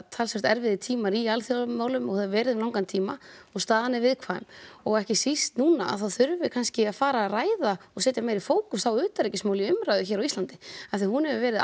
talsvert erfiðir tímar í alþjóðamálum og hafa verið um langan tíma og staðan er viðkvæm og ekki síst núna að þá þurfum við kannski að fara að ræða og setja meiri fókus á utanríkismál í umræðu hér á Íslandi af því að hún hefur verið